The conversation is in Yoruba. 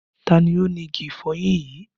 Ta ni ó ni igi ìfọyín yìí?